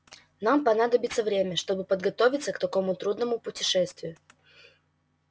нам понадобится время чтобы подготовиться к такому трудному путешествию